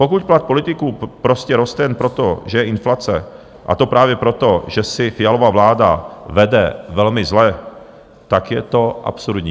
Pokud plat politiků prostě roste jen proto, že je inflace, a to právě proto, že si Fialova vláda vede velmi zle, tak je to absurdní.